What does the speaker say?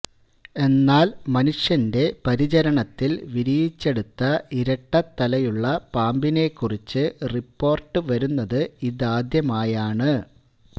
എന്നാല് മനുഷ്യന്റെ പരിചരണത്തില് വിരിയിച്ചെടുത്ത ഇരട്ട തലയുള്ള പാമ്പിനെക്കുറിച്ച് റിപ്പോര്ട്ടു വരുന്നത് ഇതാദ്യമായാണ്